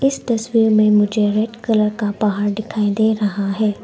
इस तस्वीर में मुझे रेड कलर का पहाड़ दिखाई दे रहा है।